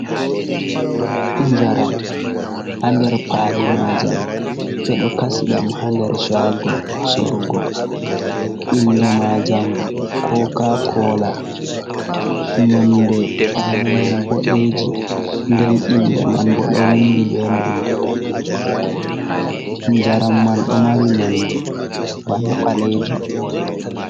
Njaram, haa nder kwali maajam, ɓe ɗo kasi ɗam haa nder shaago sorugo, innde maajam kookaakoola, nonnde paali man boɗeeji nden innde man boo ɗo winndi bee nonnde daneejum, njaram man ɗo mari nonnde bana ɓaleejum.